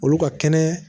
Olu ka kɛnɛ